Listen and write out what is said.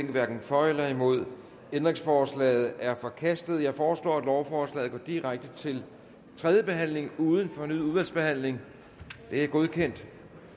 hverken for eller imod stemte ændringsforslaget er forkastet jeg foreslår at lovforslaget går direkte til tredje behandling uden fornyet udvalgsbehandling det er godkendt